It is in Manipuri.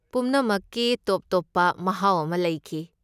ꯄꯨꯝꯅꯃꯛꯀꯤ ꯇꯣꯞ ꯇꯣꯞꯄ ꯃꯍꯥꯎ ꯑꯃ ꯂꯩꯈꯤ꯫